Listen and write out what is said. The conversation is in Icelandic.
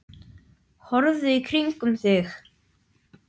Horfðu í kringum þig!